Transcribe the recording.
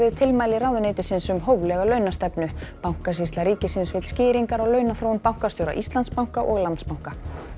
tilmæli ráðuneytisins um hóflega launastefnu bankasýsla ríkisins vill skýringar á launaþróun bankastjóra Íslandsbanka og Landsbanka